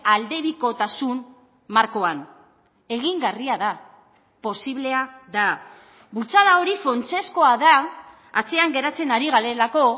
aldebikotasun markoan egingarria da posiblea da bultzada hori funtsezkoa da atzean geratzen ari garelako